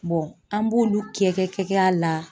an b'olu kɛ kɛ kɛ kɛ a la